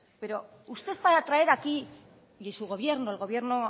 pero usted para traer aquí y su gobierno el gobierno